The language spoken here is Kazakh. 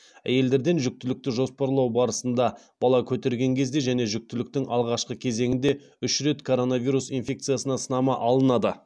әйелдерден жүктілікті жоспарлау барысында бала көтерген кезде және жүктіліктің алғашқы кезеңінде үш рет коронавирус инфекциясына сынама алынады